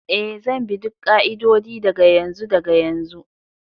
Ee, zan bi duk ƙa'idodi daga yanzu daga yanzu.